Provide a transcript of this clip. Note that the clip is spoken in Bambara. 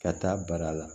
Ka taa bara la